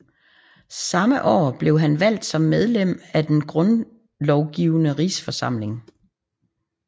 Samme år blev han valgt som medlem af Den grundlovgivende rigsforsamling